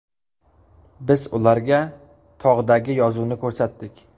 Biz ularga tog‘dagi yozuvni ko‘rsatdik.